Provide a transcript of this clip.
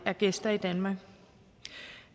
er gæster i danmark